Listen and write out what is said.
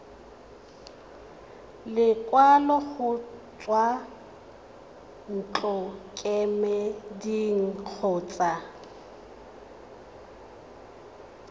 lekwalo go tswa ntlokemeding kgotsa